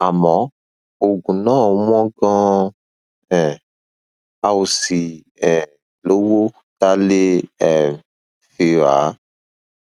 àmọ oògùn náà wọn ganan um a ò sì um lówó tá a lè um fi rà á